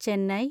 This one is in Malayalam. ചെന്നൈ